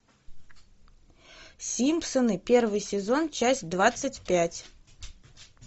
симпсоны первый сезон часть двадцать пять